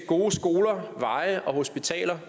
gode skoler veje og hospitaler